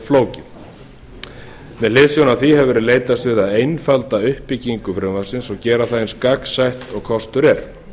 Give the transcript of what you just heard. flókið með hliðsjón af því hefur því verið leitast við að einfalda uppbyggingu frumvarpsins og gera það eins gagnsætt og kostur er